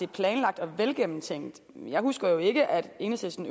planlagt og velgennemtænkt men jeg husker jo ikke at enhedslisten